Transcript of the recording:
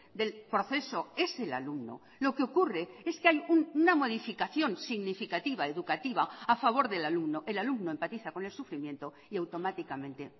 del proceso es el alumno lo que ocurre es que hay una modificación significativa educativa a favor del alumno el alumno empatiza con el sufrimiento y automáticamente